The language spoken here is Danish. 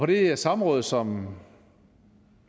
det samråd som